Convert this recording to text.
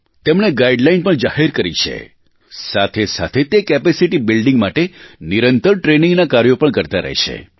તેમણે ગાઇડલાઇન પણ જાહેર કરી છે સાથેસાથે તે કેપેસિટી બિલ્ડીંગ માટે નિરંતર ટ્રેનિંગના કાર્યો પણ કરતા રહે છે